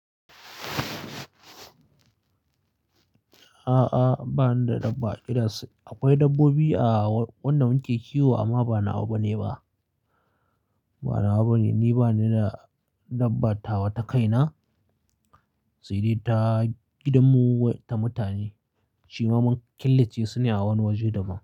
A'a, ba ni da dabba. Akwai dabbobi a wanda muke kiwo amma ba na wa ba bane ba. Ni bani da dabba tawa ta kaina sai dai ta gidan mu ta mutane. Shima mun killace su ne a wani waje da ba.